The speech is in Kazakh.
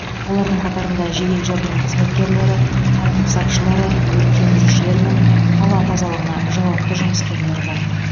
олардың қатарында жедел жәрдем қызметкерлері тәртіп сақшылары өрт сөндірушілер мен қала тазалығына жауапты жұмыскерлер бар